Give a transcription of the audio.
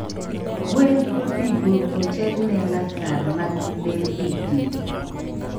gwen onego oterne lakar mag lee didi?